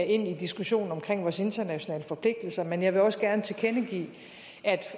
ind i diskussionen om vores internationale forpligtelser men jeg vil også gerne tilkendegive